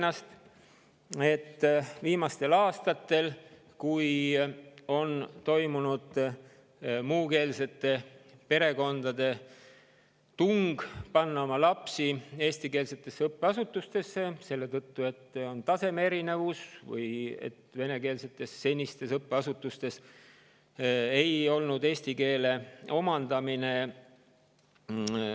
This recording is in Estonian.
Me teame, et viimastel aastatel on nii Ida-Virumaal kui ka Tallinnas olnud muukeelsete perekondade seas tung panna oma lapsed eestikeelsetesse õppeasutustesse, kas selle tõttu, et tase on erinev, või siis selle tõttu, et endistes venekeelsetes õppeasutustes ei ole tagada eesti keele omandamist.